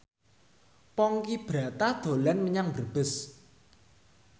Ponky Brata dolan menyang Brebes